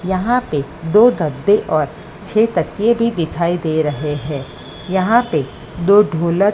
यहां पे दो गद्दे और छ तकिए भी दिखाई दे रहे हैं। यहां पे दो ढोलक--